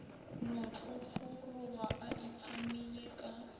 no tlhotlhoroga a itshamile ka